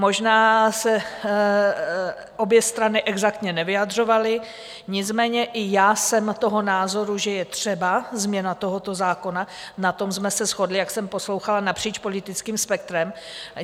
Možná se obě strany exaktně nevyjadřovaly, nicméně i já jsem toho názoru, že je třeba změna tohoto zákona, na tom jsme se shodli, jak jsem poslouchala, napříč politickým spektrem.